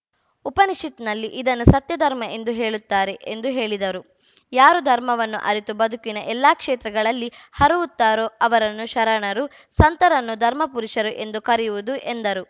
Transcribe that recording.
ಉಪನಿಷತ್‌ನಲ್ಲಿ ಇದನ್ನು ಸತ್ಯ ಧರ್ಮ ಎಂದು ಹೇಳುತ್ತಾರೆ ಎಂದು ಹೇಳಿದರು ಯಾರು ಧರ್ಮವನ್ನು ಅರಿತು ಬದುಕಿನ ಎಲ್ಲಾ ಕ್ಷೇತ್ರಗಳಲ್ಲಿ ಹರವುತ್ತಾರೋ ಅವರನ್ನು ಶರಣರು ಸಂತರನ್ನು ಧರ್ಮಪುರುಷರು ಎಂದು ಕರೆಯುವುದು ಎಂದರು